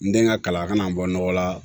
N den ka kalan a kana n bɔ nɔgɔ la